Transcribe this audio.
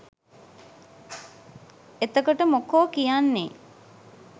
එතකොට මොකෝ කියන්නේ